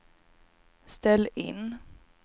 ställ in